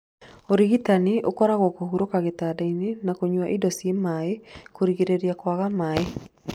Ũrigitani ũkoragwo kũhurũka gĩtandainĩ na kũnywa indo cia maĩ rũrigĩrĩria kwaga maĩ.